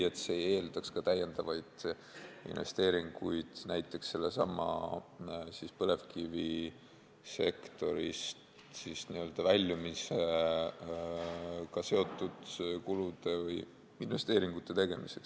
See eeldaks ka lisainvesteeringuid näiteks sellesama põlevkivisektorist väljumisega seotud kulude või investeeringute tegemiseks.